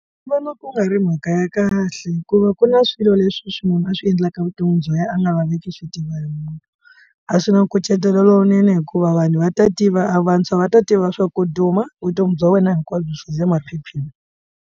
Ndzi vona ku nga ri mhaka ya kahle hikuva ku na swilo leswi swi munhu a swi endlaka vuton'wini bya yena a nga laveki swi tiva hi munhu a swi na nkucetelo lowunene hikuva vanhu va ta tiva a vantshwa va ta tiva swa ku duma vutomi bya wena hinkwabyo byi le maphepheni.